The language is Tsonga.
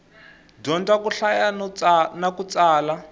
dyondza ku hlaya na ku tsala